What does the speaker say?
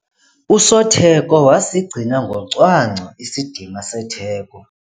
Usotheko wasigcina ngocwangco isidima setheko.